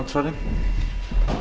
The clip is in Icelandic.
forseti það